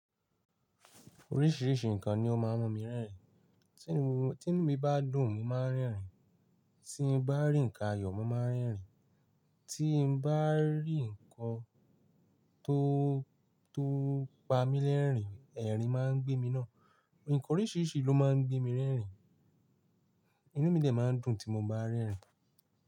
Oríṣiríṣi nǹkan ni ó máa ń mú mi rẹ́rìn. Tí inú bá dùn, mo máa ń rẹ́rìn. Tí n bá rí ǹkan ayọ̀, mo máa ń rẹ́rìn. Tí n bá rí nǹkan tó, tó pa mí lẹ́rìn, ẹ̀rín máa ń gbé mí náà. Ǹkan oríṣiríṣi ló máa ń gbé mi rẹ́rìn. Inú mí dè máa ń dùn tí mo bá rẹ́rìn.